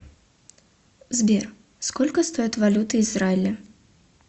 сбер сколько стоит валюта израиля